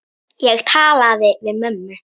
Ég talaði við mömmu.